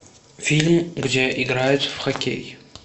фильм где играют в хоккей